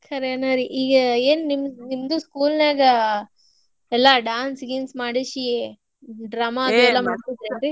ಖರೆನರೀ ಈಗ ಏನ್ ನಿಮ್ ನಿಮ್ದು school ನ್ಯಾಗ ಎಲ್ಲಾ dance ಗಿನ್ಸ್ ಮಾಡಿಸಿ drama ಅದೆಲ್ಲಾ ಮಾಡ್ಸಿದ್ರೇನ್ರೀ?